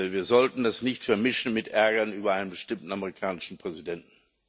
Wir sollten das nicht vermischen mit Ärger über einen bestimmten amerikanischen Präsidenten.